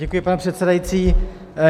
Děkuji, pane předsedající.